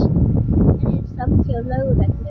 Erilsamt hjá lögreglu